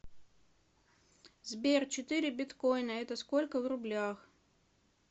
сбер четыре биткоина это сколько в рублях